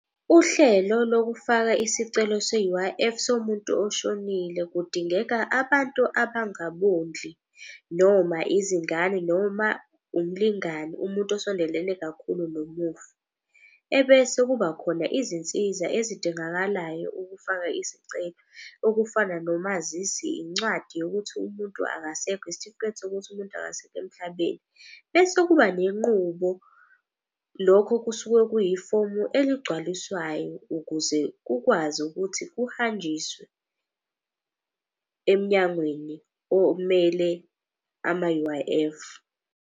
Uhlelo lokufaka isicelo se-U_I_F somuntu oshonile kudingeka abantu abangababondli noma izingane, noma umlingani, umuntu osondelene kakhulu nomufi. Ebese kuba khona izinsiza ezidingakalayo ukufaka isicelo, okufana nomazisi, incwadi yokuthi umuntu akasekho, isitifiketi sokuthi umuntu akasekho emhlabeni. Bese kuba nenqubo, lokho kusuke kuyifomu eligcwaliswayo ukuze kukwazi ukuthi kuhanjiswe emnyangweni omele ama-U_I_F.